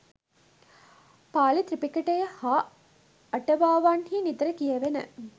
පාලි ත්‍රිපිටකයේ හා අටුවාවන්හි නිතර කියැවෙන